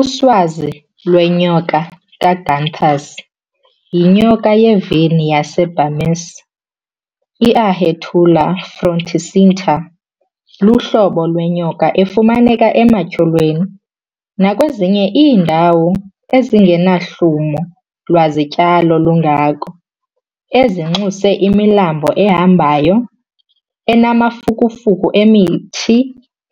Uswazi lwenyoka kaGünther's, yinyoka yevine yase-Burmese, i-Ahaetulla fronticincta, luhlobo lwenyoka efumaneka ematyholweni nakwezinye iindawo ezingenahlumo lwazityalo lungako, ezinxuse imilambo ehambayo anamafukufuku emithi